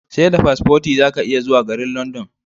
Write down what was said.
Seda paspoti zaka iya zuwa garin London